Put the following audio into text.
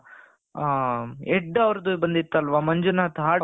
ಹ head ಅವರದು ಬಂದಿತ್ತಲ್ಲ ಮಂಜುನಾಥ್ heart,